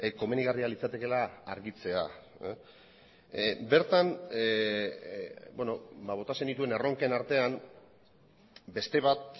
komenigarria litzatekeela argitzea bertan bota zenituen erronken artean beste bat